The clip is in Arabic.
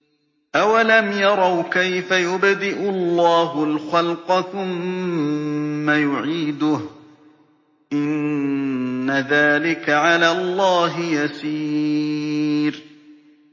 أَوَلَمْ يَرَوْا كَيْفَ يُبْدِئُ اللَّهُ الْخَلْقَ ثُمَّ يُعِيدُهُ ۚ إِنَّ ذَٰلِكَ عَلَى اللَّهِ يَسِيرٌ